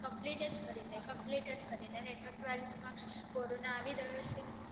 complete જ કઈ રે complete જ કરી રે અને તો twelfth માં કોરોના આવી રહીયો છે